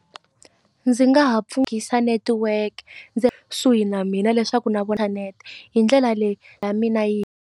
Ndzi nga ha netiweke ndzi kusuhi na mina leswaku na vona hi ndlela leyi mina yi.